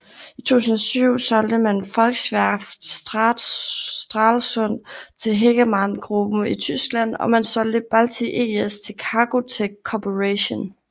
I 2007 solgte man Volkswerft Stralsund til Hegemann Gruppen i Tyskland og man solgte Balti ES til Cargotec Corporation